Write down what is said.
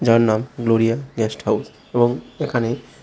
এর নাম Gloria guest house এবং এখানে--